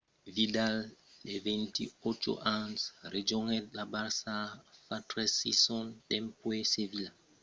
vidal de 28 ans rejonhèt lo barça fa tres sasons dempuèi sevilla